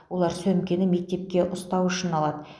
олар сөмкені мектепке ұстау үшін алады